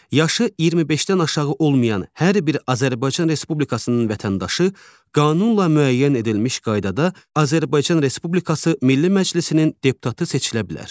Yaşı 25-dən aşağı olmayan hər bir Azərbaycan Respublikasının vətəndaşı qanunla müəyyən edilmiş qaydada Azərbaycan Respublikası Milli Məclisinin deputatı seçilə bilər.